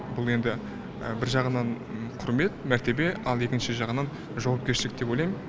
бұл енді бір жағынан құрмет мәртебе ал екінші жағынан жауапкершілік деп ойлаймын